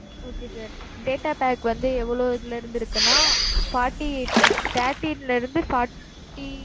okay sir data pack வந்து எவ்வளவு இதுல இருந்து இருக்குன்னா, forty eight thirty eight இருந்து forty